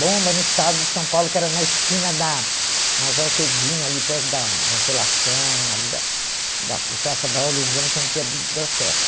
Bomba no estado de São Paulo, que era na esquina da Majorquedinho, ali perto da Consolação, ali da da Praça Braulio Gomes, onde tinha a biblioteca.